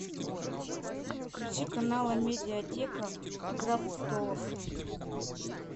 включи канал амедиатека игра престолов